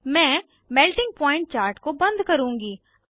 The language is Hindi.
मैं मेल्टिंग पॉइंट चार्ट को बंद करुँगी